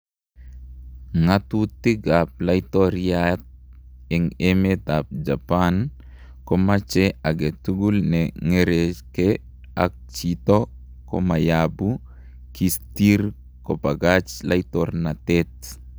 Ngatutik ap latoryat en emet ap japan komache angetugul ne ngereke ak jito kemayapu kistir kopakach latornatet